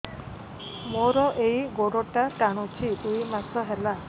ମୋର ଏଇ ଗୋଡ଼ଟା ଟାଣୁଛି ଦୁଇ ମାସ ହେଲା